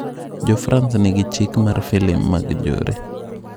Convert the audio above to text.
Jofrans nigi chik mar filim mag njore.